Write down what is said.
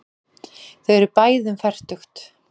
Þau eru bæði um fertugt.